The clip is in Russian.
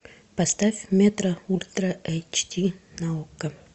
поставь метро ультра эйч ди на окко